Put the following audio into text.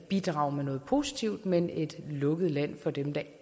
bidrage med noget positivt men et lukket land for dem der